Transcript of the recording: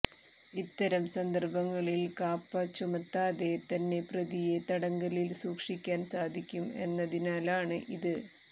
ഇത്തരം സന്ദർഭങ്ങളിൽ കാപ്പ ചുമത്താതെ തന്നെ പ്രതിയെ തടങ്കലിൽ സൂക്ഷിക്കാൻ സാധിക്കും എന്നതിനാലാണ് ഇത്